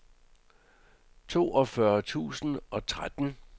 toogfyrre tusind og tretten